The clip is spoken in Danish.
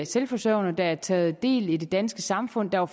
selvforsørgende har taget del i det danske samfund og